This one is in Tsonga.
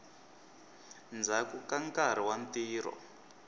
ndzhaku ka nkarhi wa ntirho